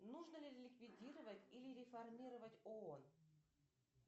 нужно ли ликвидировать или реформировать оон